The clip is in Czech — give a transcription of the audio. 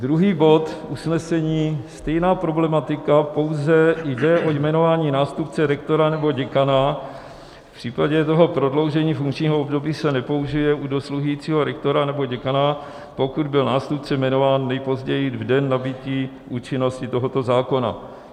Druhý bod usnesení, stejná problematika, pouze jde o jmenování nástupce rektora nebo děkana, v případě toho prodloužení funkčního období se nepoužije u dosluhujícího rektora nebo děkana, pokud byl nástupce jmenován nejpozději v den nabytí účinnosti tohoto zákona.